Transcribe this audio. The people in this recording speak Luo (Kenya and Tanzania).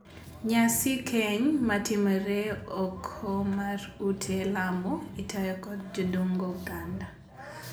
Nyasi keny ma timore oko mar ute lamo itayo kod jodongo oganda.